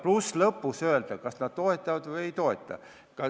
Ja lõpuks said nad öelda, kas nad toetavad eelnõu või ei toeta.